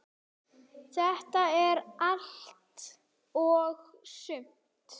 Þetta er allt og sumt